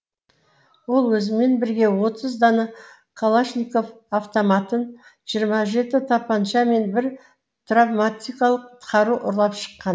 ол өзімен бірге отыз дана калашников автоматын жиырма жеті тапанша мен бір травматикалық қару ұрлап шыққан